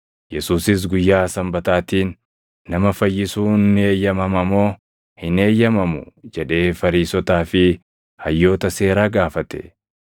Yesuusis, “Guyyaa Sanbataatiin nama fayyisuun ni eeyyamama moo hin eeyyamamu?” jedhee Fariisotaa fi hayyoota seeraa gaafate.